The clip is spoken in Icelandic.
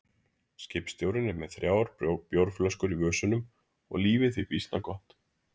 Skipstjórinn er með þrjár bjórflöskur í vösunum og lífið því býsna gott.